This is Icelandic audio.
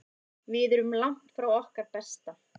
Við erum langt frá okkar besta.